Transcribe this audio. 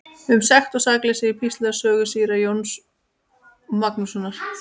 Um sekt og sakleysi í Píslarsögu síra Jóns Magnússonar.